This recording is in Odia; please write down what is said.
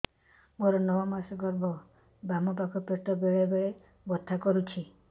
ମୋର ନଅ ମାସ ଗର୍ଭ ବାମ ପାଖ ପେଟ ବେଳେ ବେଳେ ବଥା କରୁଛି